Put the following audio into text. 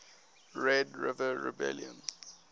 red river rebellion